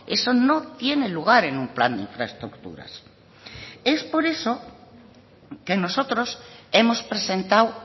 eso no tiene lugar en un plan de infraestructuras es por eso que nosotros hemos presentado